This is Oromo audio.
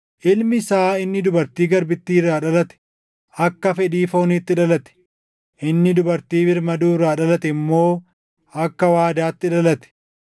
Ilmi isaa inni dubartii garbittii irraa dhalate akka fedhii fooniitti dhalate; inni dubartii birmaduu irraa dhalate immoo akka waadaatti dhalate.